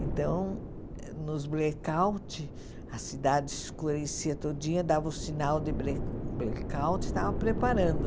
Então, nos blackouts, a cidade escurecia todinha, dava o sinal de bla blackout e estava preparando.